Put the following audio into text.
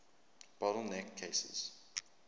bottle neck cases